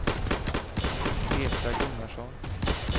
Petra Gunnarsson